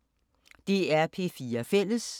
DR P4 Fælles